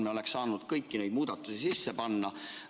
Me oleks saanud kõiki neid muudatusi sisse panna.